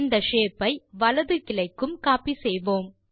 இந்த ஷேப் ஐ வலது கிளைக்கும் கோப்பி செய்வோம்